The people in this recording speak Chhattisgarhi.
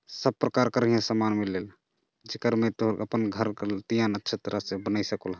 सब प्रकार कर यहाँ सामान मिलेल जेकर में तोर अपन घर तिया नक्षत्र से बनिसे कोल ह --